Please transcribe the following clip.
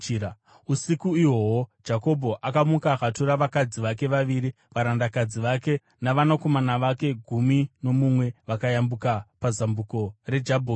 Usiku ihwohwo Jakobho akamuka akatora vakadzi vake vaviri, varandakadzi vake navanakomana vake gumi nomumwe vakayambuka pazambuko reJabhoki.